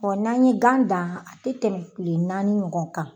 n'an ye gan dan a tɛ tɛmɛ tile naani ɲɔgɔn kan.